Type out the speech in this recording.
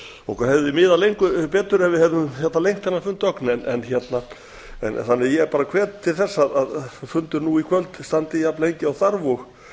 okkur hefði miðað getur ef við hefðum lengt þennan fund ögn þannig að ég bar hvet til þess að fundur nú í kvöld standi jafn lengi og þarf